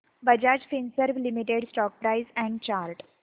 Bajaj Finserv limited stock price and chart